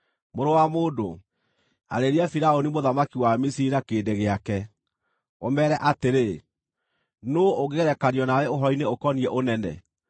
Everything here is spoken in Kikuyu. “Mũrũ wa mũndũ, arĩria Firaũni mũthamaki wa Misiri na kĩrĩndĩ gĩake, ũmeere atĩrĩ: “ ‘Nũũ ũngĩgerekanio nawe ũhoro-inĩ ũkoniĩ ũnene?